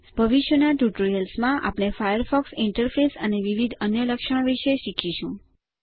ભવિષ્યના ટ્યુટોરિયલ્સ માં આપણે ફાયરફોક્સ ઇન્ટરફેસ અને વિવિધ અન્ય લક્ષણો વિશે વધુ શીખીશું